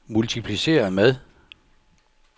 multipliceret med